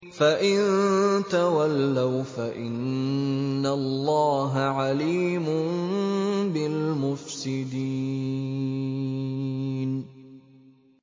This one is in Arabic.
فَإِن تَوَلَّوْا فَإِنَّ اللَّهَ عَلِيمٌ بِالْمُفْسِدِينَ